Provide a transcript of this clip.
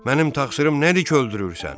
Mənim təqsirim nədir ki öldürürsən?